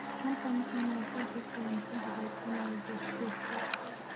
markaan cunnay ka dib ayaanu ku ducaysanay jeesjeeska